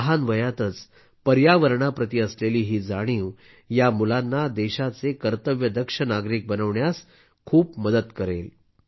लहान वयातच पर्यावरणाप्रती असलेली ही जाणीव या मुलांना देशाचे कर्तव्यदक्ष नागरिक बनवण्यास खूप मदत करेल